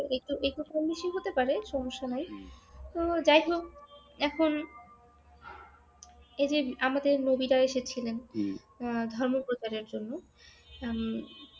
একটু কম বেশি হতে পারে সমস্যা নাই তো যাই হোক এখন এইযে আমাদের নবীরা এসেছিলেন আহ আপনার ধর্ম প্রচারের জন্য উম